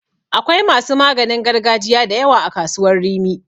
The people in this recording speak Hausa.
Akwai masu maganin gargajiya da yawa a kasuwar Rimi.